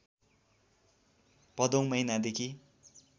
भदौ महिना देखी